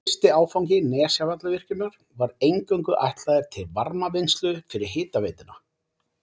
Fyrsti áfangi Nesjavallavirkjunar var eingöngu ætlaður til varmavinnslu fyrir hitaveituna.